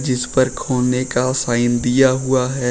जिसपर खोने का साइन दिया हुआ है।